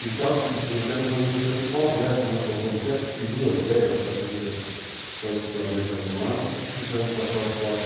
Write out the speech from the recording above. E os carros que tinham aqueles americanos pós-guerra, que nós compramos até peruas velhas da polícia estadual da América do Norte, trouxemos para cá os Ford.